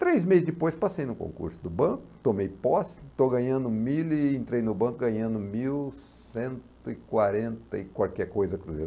Três meses depois, passei no concurso do banco, tomei posse, estou ganhando mil e entrei no banco ganhando mil cento e quarenta e qualquer coisa cruzeiro.